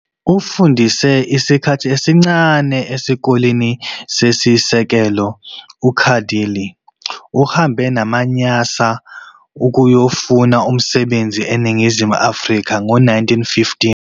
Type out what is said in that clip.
Ufundise isikhathi esincane esikoleni sesisekelo, uKadalie uhambe namaNyasa ukuyofuna umsebenzi eNingizimu Africa ngo1915.